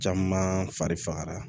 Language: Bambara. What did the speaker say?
Caman fari fagara